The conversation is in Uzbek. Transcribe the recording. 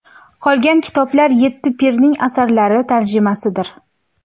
Qolgan kitoblar yetti pirning asarlari tarjimasidir.